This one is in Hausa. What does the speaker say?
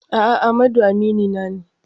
A'a, Amadu aminina ne.